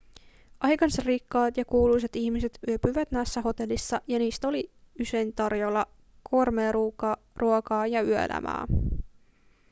aikansa rikkaat ja kuuluisat ihmiset yöpyivät näissä hotelleissa ja niissä oli usein tarjolla gourmetruokaa ja yöelämää